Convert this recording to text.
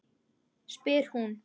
spyr hún.